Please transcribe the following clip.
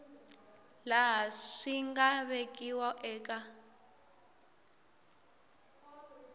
laha swi nga vekiwa eka